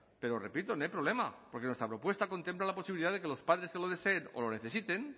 pero repito no hay problema porque nuestra propuesta contempla la posibilidad de que los padres que lo deseen o lo necesiten